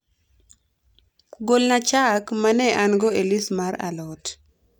golna chak ma ne an - go e list mar a lot